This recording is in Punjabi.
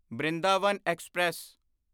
ਬ੍ਰਿੰਦਾਵਨ ਐਕਸਪ੍ਰੈਸ